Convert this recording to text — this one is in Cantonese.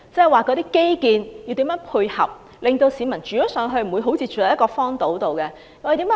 換言之，基建要怎樣配合，令市民不會像住在荒島上一般。